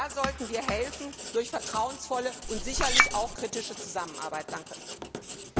Da sollten wir durch vertrauensvolle und sicherlich auch kritische Zusammenarbeit helfen.